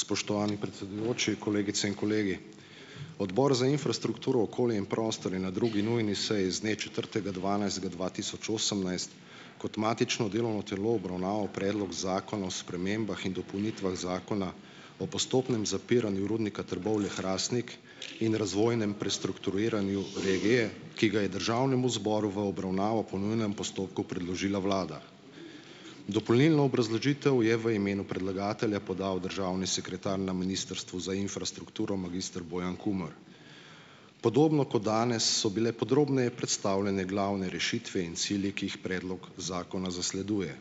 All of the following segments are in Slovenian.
Spoštovani predsedujoči, kolegice in kolegi! Odbor za infrastrukturo, okolje in prostor je na drugi nujni seji z dne četrtega dvanajstega dva tisoč osemnajst kot matično delovno telo obravnaval Predlog zakona o spremembah in dopolnitvah Zakona o postopnem zapiranju Rudnika Trbovlje-Hrastnik in razvojnem prestrukturiranju regije, ki ga je državnemu zboru v obravnavo po nujnem postopku predložila vlada. Dopolnilno obrazložitev je v imenu predlagatelja podal državni sekretar na Ministrstvu za infrastrukturo, magister Bojan Kumer. Podobno kot danes so bile podrobneje predstavljene glavne rešitve in cilji, ki jih predlog zakona zasleduje.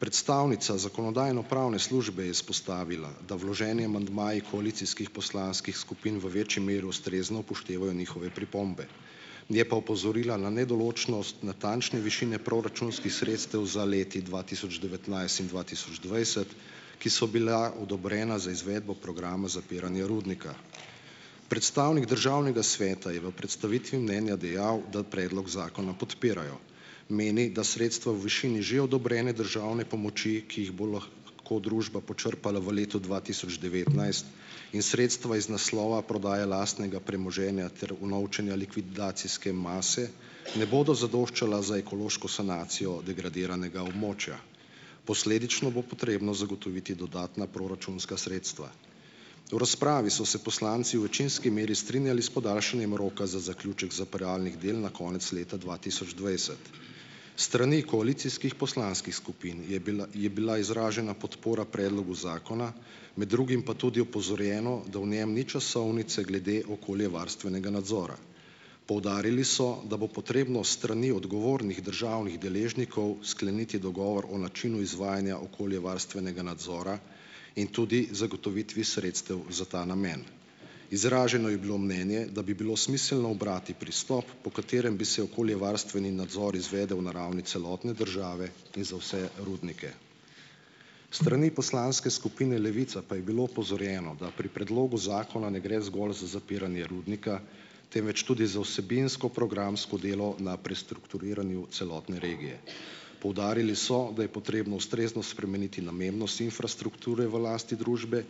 Predstavnica Zakonodajno-pravne službe je izpostavila, da vloženi amandmaji koalicijskih poslanskih skupin v večji meri ustrezno upoštevajo njihove pripombe, je pa opozorila na nedoločnost natančne višine proračunskih sredstev za leti dva tisoč devetnajst in dva tisoč dvajset, ki so bila odobrena za izvedbo programa zapiranja rudnika. Predstavnik državnega sveta je v predstavitvi mnenja dejal, da predlog zakona podpirajo. Meni, da sredstva v višini že odobrene državne pomoči, ki jih bo lahko ko družba počrpala v letu dva tisoč devetnajst, in sredstva iz naslova prodaje lastnega premoženja ter unovčenja likvidacijske mase ne bodo zadoščala za ekološko sanacijo degradiranega območja. Posledično bo potrebno zagotoviti dodatna proračunska sredstva. V razpravi so se poslanci v večinski meri strinjali s podaljšanjem roka za zaključek zapiralnih del na konec leta dva tisoč dvajset. S strani koalicijskih poslanskih skupin je bila je bila izražena podpora predlogu zakona, med drugim pa tudi opozorjeno, da v njem ni časovnice glede okoljevarstvenega nadzora. Poudarili so, da bo potrebno s strani odgovornih državnih deležnikov skleniti dogovor o načinu izvajanja okoljevarstvenega nadzora in tudi zagotovitvi sredstev za ta namen. Izraženo je bilo mnenje, da bi bilo smiselno ubrati pristop, po katerem bi se okoljevarstveni nadzor izvedel na ravni celotne države in za vse rudnike. S strani poslanske skupine Levica pa je bilo opozorjeno, da pri predlogu zakona ne gre zgolj za zapiranje rudnika, temveč tudi za vsebinsko programsko delo na prestrukturiranju celotne regije. Poudarili so, da je potrebno ustrezno spremeniti namembnost infrastrukture v lasti družbe,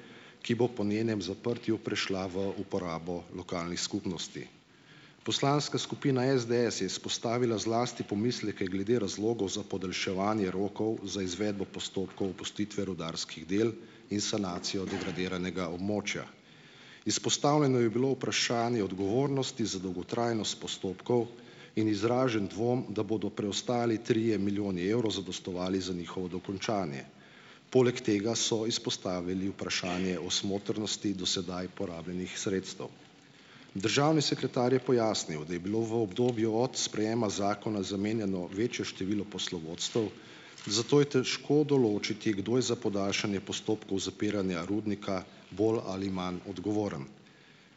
ki bo po njenem zaprtju prišla v uporabo lokalnih skupnosti. Poslanska skupina SDS je izpostavila zlasti pomisleke glede razlogov za podaljševanje rokov za izvedbo postopkov opustitve rudarskih del in sanacijo degradiranega območja. Izpostavljeno je bilo vprašanje odgovornosti za dolgotrajnost postopkov in izražen dvom, da bodo preostali trije milijoni evrov zadostovali za njihovo dokončanje. Poleg tega so izpostavili vprašanje o smotrnosti do sedaj porabljenih sredstev. Državni sekretar je pojasnil, da je bilo v obdobju od sprejema zakona zamenjano večje število poslovodstev, zato je težko določiti, kdo je za podaljšanje postopkov zapiranja rudnika bolj ali manj odgovoren.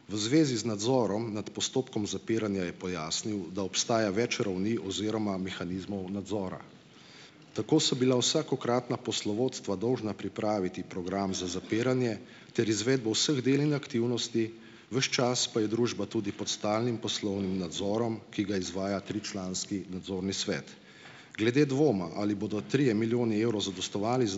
V zvezi z nadzorom nad postopkom zapiranja je pojasnil, da obstaja več ravni oziroma mehanizmov nadzora. Tako so bila vsakokratna poslovodstva dolžna pripraviti program za zapiranje ter izvedbo vseh del in aktivnosti, ves čas pa je družba tudi pod stalnim poslovnim nadzorom, ki ga izvaja tričlanski nadzorni svet. Glede dvoma, ali bodo trije milijoni evrov zadostovali za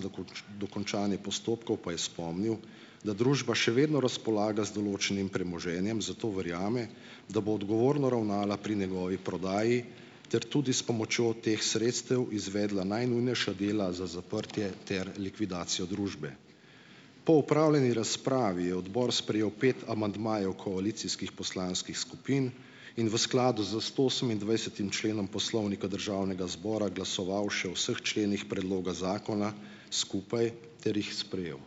dokončanje postopkov, pa je spomnil, da družba še vedno razpolaga z določenim premoženjem, zato verjame, da bo odgovorno ravnala pri njegovi prodaji ter tudi s pomočjo teh sredstev izvedla najnujnejša dela za zaprtje ter likvidacijo družbe. Po opravljeni razpravi je odbor sprejel pet amandmajev koalicijskih poslanskih skupin in v skladu z stoosemindvajsetim členom Poslovnika Državnega zbora glasoval še o vseh členih predloga zakona skupaj ter jih sprejel.